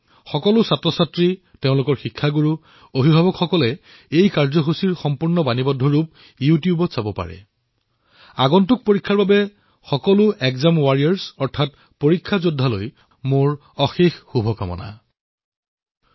সকলো শিক্ষাৰ্থী পিতৃমাতৃয়ে ইউ টিউবত এই সমগ্ৰ কাৰ্যসূচীটোৰ ভিডিঅ ৰেকৰ্ডিং প্ৰত্যক্ষ কৰিব পাৰিব আৰু অনাগত পৰীক্ষাৰ বাবে মোৰ সকলো এগজাম ৱাৰিয়ৰ্ছলৈ অলেখ শুভকামনা থাকিল